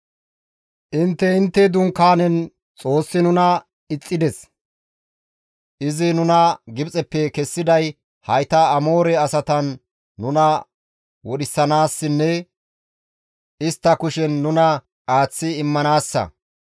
Intte intte dunkaanen, ‹Xoossi nuna ixxides; izi nuna Gibxeppe kessiday hayta Amoore asatan nuna wodhisanaassinne istta kushen nuna aaththi immanaassa;